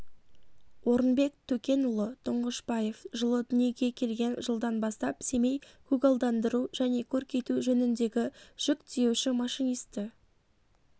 орынбек төкенұлы тұңғышбаев жылы дүниеге келген жылдан бастап семей көгалдандыру және көркейту жөніндегі жүк тиеуші машинисті